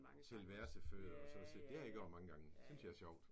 Til versefødder og så at sige. Det har jeg gjort mange gange. Det synes jeg er sjovt